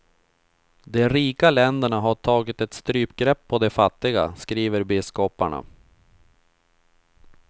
De rika länderna har tagit ett strypgrepp på de fattiga, skriver biskoparna.